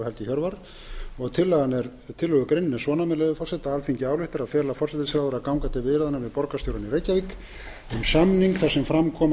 ingadóttir og helgi hjörvar tillögugreinin er svona með leyfi forseta alþingi ályktar að fela forsætisráðherra að ganga til viðræðna við borgarstjórann í reykjavík um samning þar sem fram koma